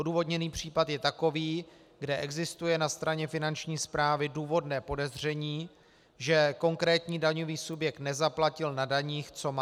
Odůvodněný případ je takový, kde existuje na straně Finanční správy důvodné podezření, že konkrétní daňový subjekt nezaplatil na daních, co má.